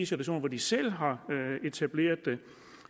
situation selv har etableret